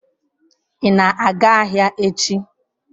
Ị na-aga ahịa echi?